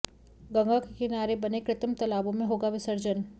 गंगा के किनारे बने कृतिम तालाबो में होगा विसर्जन